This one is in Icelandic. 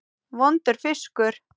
Vondur fiskur.